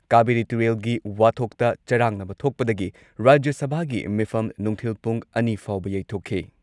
ꯀꯥꯕꯦꯔꯤ ꯇꯨꯔꯦꯜꯒꯤ ꯋꯥꯊꯣꯛꯇ ꯆꯔꯥꯡꯅꯕ ꯊꯣꯛꯄꯗꯒꯤ ꯔꯥꯖ꯭ꯌ ꯁꯚꯥꯒꯤ ꯃꯤꯐꯝ ꯅꯨꯡꯊꯤꯜ ꯄꯨꯡ ꯑꯅꯤ ꯐꯥꯎꯕ ꯌꯩꯊꯣꯛꯈꯤ ꯫